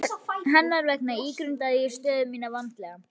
Hennar vegna ígrundaði ég stöðu mína vandlega.